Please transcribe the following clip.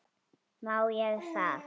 Má ég það?